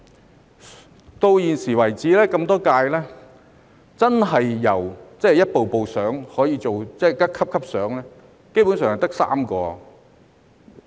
直到現時為止那麼多屆，真的可以逐級升遷的，基本上只有3人。